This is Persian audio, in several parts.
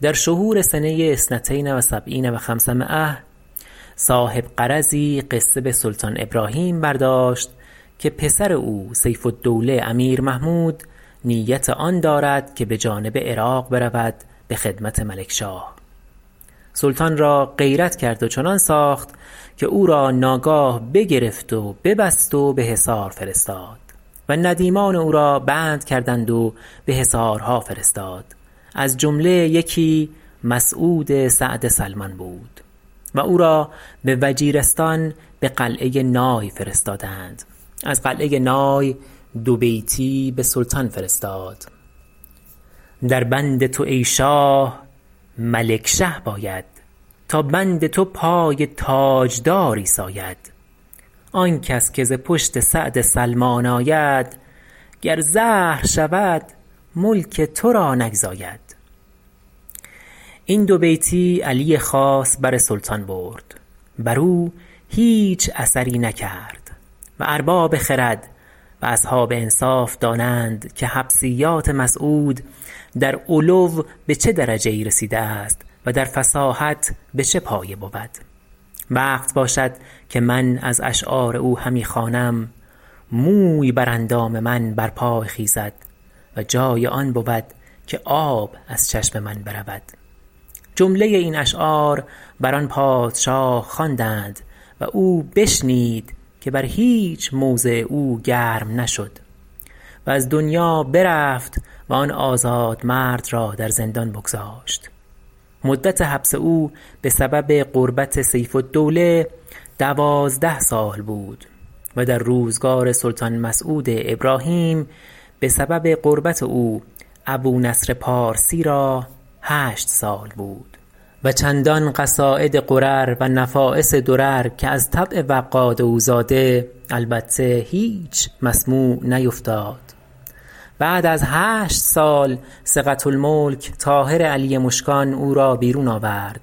در شهور سنه اثنتین و سبعین و خمس مایه اربعمایه_ صح صاحب غرضی قصه به سلطان ابراهیم برداشت که پسر او سیف الدوله امیر محمود نیت آن دارد که به جانب عراق رود به خدمت ملکشاه سلطان را غیرت کرد و چنان ساخت که او را ناگاه بگرفت و ببست و به حصار فرستاد و ندیمان او را بند کردند و به حصارها فرستاد از جمله یکی مسعود سعد سلمان بود و او را به وجیرستان به قلعه نای فرستادند از قلعه نای دوبیتی به سلطان فرستاد در بند تو ای شاه ملکشه باید تا بند تو پای تاجداری ساید آن کس که ز پشت سعد سلمان آید گر زهر شود ملک تو را نگزاید این دوبیتی علی خاص بر سلطان برد بر او هیچ اثری نکرد و ارباب خرد و اصحاب انصاف دانند که حبسیات مسعود در علو به چه درجه ای رسیده است و در فصاحت به چه پایه بود وقت باشد که من از اشعار او همی خوانم موی بر اندام من برپای خیزد و جای آن بود که آب از چشم من برود جمله این اشعار بر آن پادشاه خواندند و او بشنید که بر هیچ موضع او گرم نشد و از دنیا برفت و آن آزادمرد را در زندان بگذاشت مدت حبس او به سبب قربت سیف الدوله دوازده سال بود و در روزگار سلطان مسعود ابراهیم به سبب قربت او ابونصر پارسی را هشت سال بود و چندان قصاید غرر و نفایس درر که از طبع وقاد او زاده البته هیچ مسموع نیفتاد بعد از هشت سال ثقة الملک طاهر علی مشکان او را بیرون آورد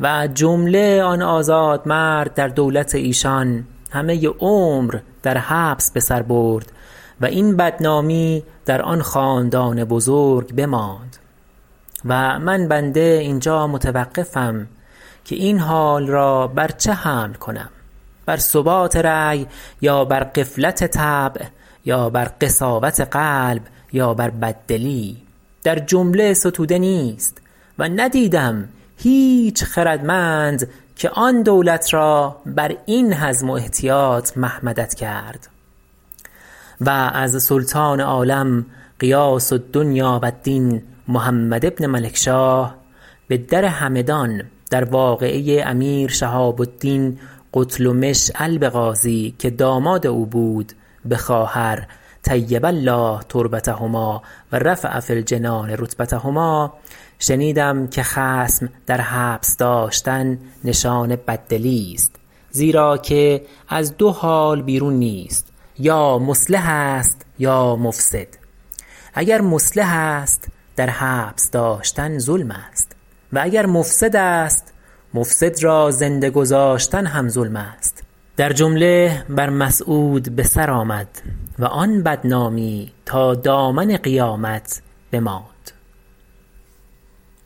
و جمله آن آزاد مرد در دولت ایشان همه عمر در حبس به سر برد و این بدنامی در آن خاندان بزرگ بماند و من بنده اینجا متوقفم که این حال را بر چه حمل کنم بر ثبات رأی یا بر غفلت طبع یا بر قساوت قلب یا بر بددلی در جمله ستوده نیست و ندیدم هیچ خردمند که آن دولت را بر این حزم و احتیاط محمدت کرد و از سلطان عالم غیاث الدنیا و الدین محمد بن ملکشاه به در همدان در واقعه امیر شهاب الدین قتلمش الب غازی که داماد او بود به خواهر طیب الله تربتهما و رفع فی الجنان رتبتهما شنیدم که خصم در حبس داشتن نشان بددلی است زیرا که از دو حال بیرون نیست یا مصلح است یا مفسد اگر مصلح است در حبس نگاه داشتن ظلم است و اگر مفسد است مفسد را زنده گذاشتن هم ظلم است در جمله بر مسعود به سر آمد و آن بدنامی تا دامن قیامت بماند